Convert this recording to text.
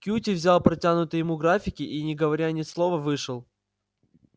кьюти взял протянутые ему графики и не говоря ни слова вышел